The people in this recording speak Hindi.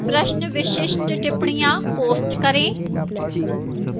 प्रश्नविशिष्ट टिप्पणियाँ post करें